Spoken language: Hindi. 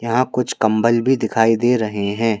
यहाँ कुछ कंबल भी दिखाई दे रहे हैं।